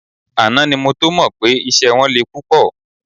Àná ni mo tó mọ pé iṣẹ́ wọn le púpọ̀